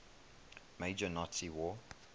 major nazi war